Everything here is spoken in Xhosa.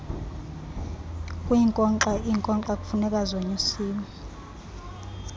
kwiinkokxa iinkonkxa kufunekazonyusiwe